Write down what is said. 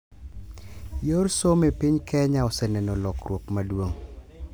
Yor somo e piny Kenya oseneno lokruok maduong'.